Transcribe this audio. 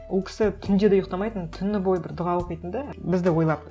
ол кісі түнде де ұйықтамайтын түні бойы бір дұға оқитын да бізді ойлап